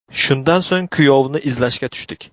Shundan so‘ng kuyovni izlashga tushdik.